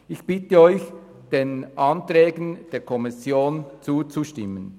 Ich bitte Sie, den Anträgen der Kommission zuzustimmen.